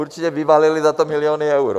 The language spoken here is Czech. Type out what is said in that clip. Určitě vyvalili za to miliony eur.